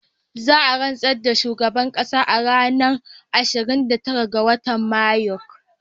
Za a rantsar da shugaban ƙasa a ranar ashirin da tara ga watan Mayu